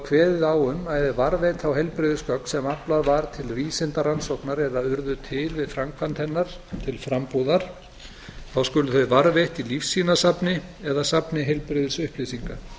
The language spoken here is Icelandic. kveðið á um að varðveita á heilbrigðisgögn sem aflað var til vísindarannsóknar eða urðu til við framkvæmd hennar til frambúðar þá skulu þau varðveitt í lífsýnasafni eða safni heilbrigðisupplýsinga